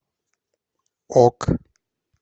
ок